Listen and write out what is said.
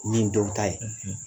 O ye nin dɔw ta ye,